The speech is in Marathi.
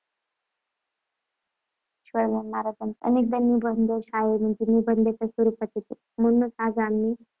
मराठीत शिवाजी महाराज निबंध अनेकदा शाळांमध्ये निबंधाच्या स्वरूपात येतो. म्हणूनच आज आम्ही